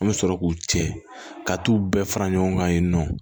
An bɛ sɔrɔ k'u cɛ ka t'u bɛɛ fara ɲɔgɔn kan yen nɔ